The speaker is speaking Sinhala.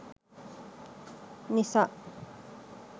nisa